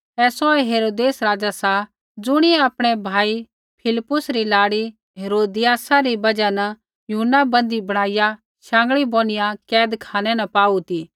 ऐ सौऐ हेरोदेस राज़ा सा ज़ुणियै आपणै भाई फिलिप्पुस री लाड़ी हेरोदियासा री बजहा न यूहन्ना बँदी बणाईया शाँगीयै बोनिआ कैदखानै न पाऊ ती